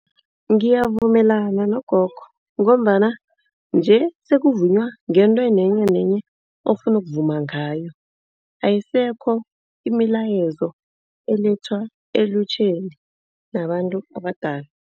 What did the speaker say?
Ngiyavumelana nogogo ngombana nje sokuvunywa ngento nenyenenye ofuna ukuvuma ngayo. Ayisekho imilayezo elethwa elutjheni nabantu abadala.